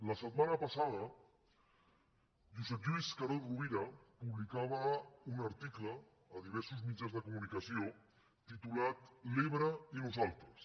la setmana passada josep lluís carod rovira publicava un article a diversos mitjans de comunicació titulat l’ebre i nosaltres